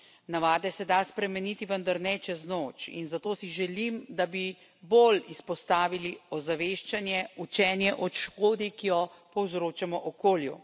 Navade se da spremeniti, vendar ne čez noč in zato si želim, da bi bolj izpostavili ozaveščanje, učenje o škodi, ki jo povzročamo okolju.